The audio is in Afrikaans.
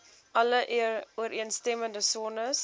alle ooreenstemmende sones